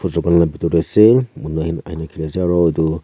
la bitor tae ase aro edu.